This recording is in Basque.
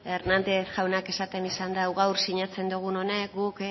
hernández jaunak esaten izan dau gaur sinatzen dugun honek guk